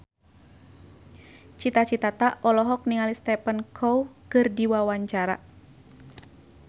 Cita Citata olohok ningali Stephen Chow keur diwawancara